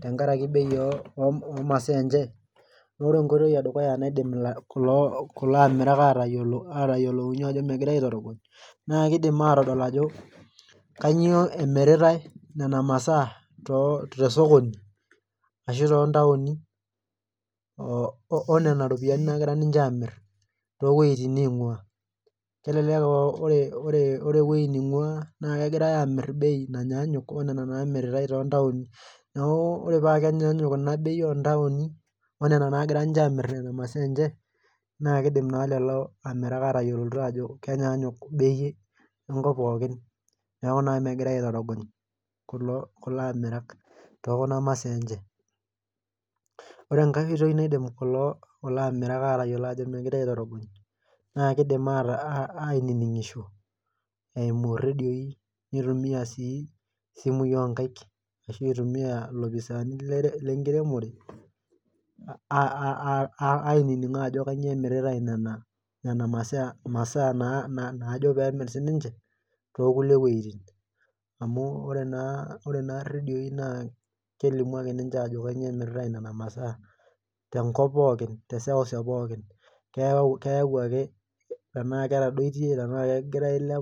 tenkaraki bei oh omasaa enche noore enkoitoi edukuya naidim ila kulo amirak atayiolo atayiolounyie ajo megirae aetorogony naa kidim atodol ajo kanyio emiritae nena masaa too te sokoni ashu tontaoni oh onena ropiyiani nagira ninche amirr towueitin neing'ua kelelek uh o ore ewuei ning'ua naa kegirae amirr bei nanyaanyuk onena namiritae tontaoni neku ore paa kenyaanyuk ina bei ontaoni onena naagira ninche amirr nena masaa enche naa kidim naa lelo amirak atayiolito aajo kenyaanyuk bei enkop pookin neeku naa megirae aitorogony kulo kulo amirak tokuna masaa enche ore enkae oitoi naidim kulo kulo amirak atayiolo ajo megirae aitorogony naa kidim aata ainining'isho eimu irredioi nitumia sii isimui onkaik ashu itumia ilopisaani lere lenkiremore uh ainining naa ajo kanyio emiritae nena nena masaa imasaa naa naajo pemirr sininche tokli wueitin amu ore naa ore naa irredioi naa kelimu ake ninche ajo kanyio emiritae inena masaa tenkop pookin teseuseu pookin keeu keyau ake tenaa ketadoitie tenaakegira ailepu.